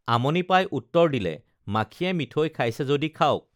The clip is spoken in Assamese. আমনি পাই উত্তৰ দিলে মাখিয়ে মিঠৈ খাইছে যদি খাওঁক